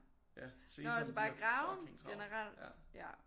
Ja Sesam de har fucking travlt ja